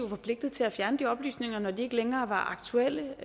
forpligtet til at fjerne de oplysninger når de ikke længere var aktuelle og